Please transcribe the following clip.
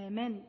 hemen